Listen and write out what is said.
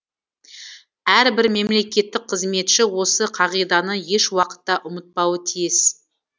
әрбір мемлекеттік қызметші осы қағиданы еш уақытта ұмытпауы тиіс